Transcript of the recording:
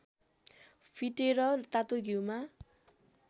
फिटेर तातो घिउमा